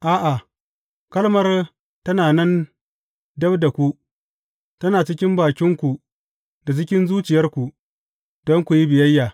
A’a, kalmar tana nan dab da ku, tana cikin bakinku da cikin zuciyarku, don ku yi biyayya.